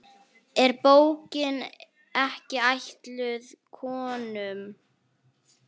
Er bókin ekki ætluð konum?